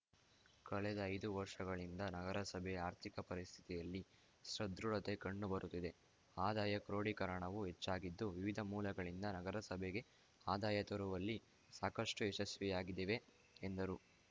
ಕಳೆದ ಐದು ವರ್ಷಗಳಿಂದ ನಗರಸಭೆ ಆರ್ಥಿಕ ಪರಿಸ್ಥಿತಿಯಲ್ಲಿ ಸದೃಢತೆ ಕಂಡು ಬರುತ್ತಿದೆ ಆದಾಯ ಕ್ರೋಡೀಕರಣವು ಹೆಚ್ಚಾಗಿದ್ದು ವಿವಿಧ ಮೂಲಗಳಿಂದ ನಗರಸಭೆಗೆ ಆದಾಯ ತರುವಲ್ಲಿ ಸಾಕಷ್ಟುಯಶಸ್ವಿಯಾಗಿದ್ದೇವೆ ಎಂದರು